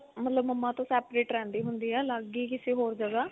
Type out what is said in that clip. ਮਤਲਬ mamma ਤੋਂ separate ਰਹਿੰਦੀ ਹੁੰਦੀ ਆ ਅਲੱਗ ਹੀ ਕਿਸੇ ਹੋਰ ਜਗ੍ਹਾ